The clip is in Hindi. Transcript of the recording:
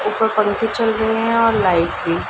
ऊपर पंखे चल रहे है और लाइट भी --